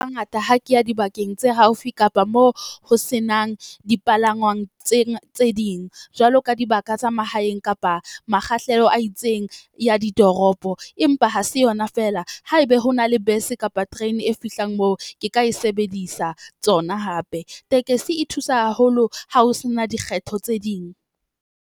Hangata ha ke ya dibakeng tse haufi kapa moo ho senang dipalangwang tse tse ding. Jwalo ka dibaka tsa mahaeng kapa makgahlelo a itseng ya ditoropo. Empa ha se yona feela haebe ho na le bese kapa terene e fihlang moo, ke ka e sebedisa tsona hape. Tekesi e thusa haholo ha ho sena dikgetho tse ding.